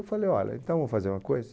Eu falei, olha, então vamos fazer uma coisa?